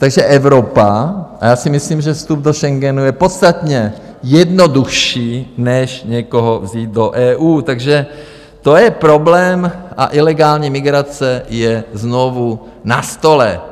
Takže Evropa - a já si myslím, že vstup do Schengenu je podstatně jednodušší než někoho vzít do EU, takže to je problém - a ilegální migrace je znovu na stole.